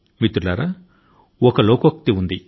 మిత్రులారా ఈ శ్లోకం మన గ్రంథాల లో ఉంది